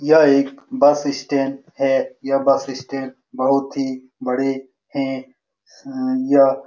यह एक bus stand है ये बस स्टैंड बहुत ही बड़े है यह--